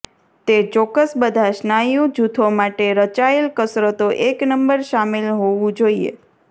તે ચોક્કસ બધા સ્નાયુ જૂથો માટે રચાયેલ કસરતો એક નંબર શામેલ હોવું જોઈએ